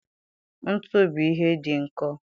Ntu bụ ihe dị nkọ